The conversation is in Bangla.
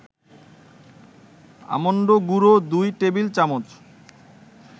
আমন্ড গুঁড়ো ২ টেবিল-চামচ